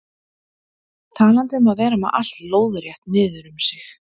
Talandi um að vera með allt lóðrétt niður um sig.